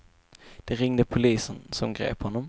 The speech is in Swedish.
De ringde polisen, som grep honom.